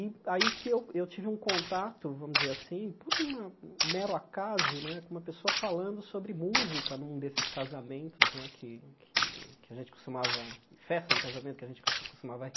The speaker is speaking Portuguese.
E aí que eu eu tive um contato, vamos dizer assim, por uma mero acaso né, com uma pessoa falando sobre música num desses casamentos né que que que a gente costumava, festa de casamento que a gente costumava